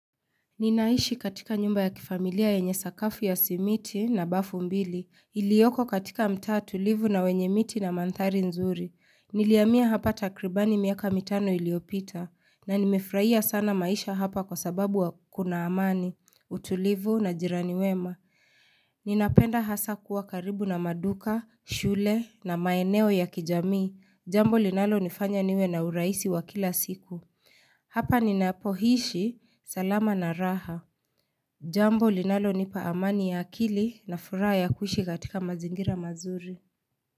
Ninaishi katika nyumba ya kifamilia yenye sakafu ya simiti na bafu mbili, iliyoko katika mtaa tulivu na wenye miti na mandhari nzuri. Nilihamia hapa takribani miaka mitano iliyopita, na nimefurahia sana maisha hapa kwa sababu wa kuna amani, utulivu na jirani wema. Ninapenda hasa kuwa karibu na maduka, shule na maeneo ya kijamii, jambo linalo nifanya niwe na urahisi wa kila siku. Hapa ninapoishi salama na raha. Jambo linalonipa amani ya akili na furaha kuishi katika mazingira mazuri.